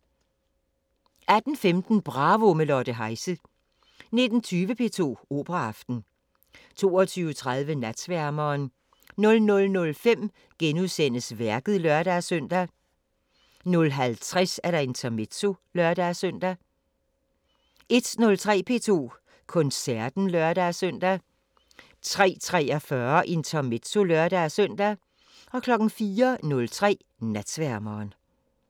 18:15: Bravo – med Lotte Heise 19:20: P2 Operaaften 22:30: Natsværmeren 00:05: Værket *(lør-søn) 00:50: Intermezzo (lør-søn) 01:03: P2 Koncerten (lør-søn) 03:43: Intermezzo (lør-søn) 04:03: Natsværmeren